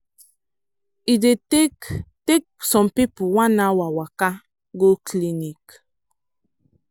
e dey take take some people one hour waka go clinic.